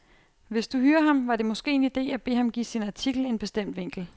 Hvis du hyrer ham, var det måske en idé at bede ham give sin artikel en bestemt vinkel.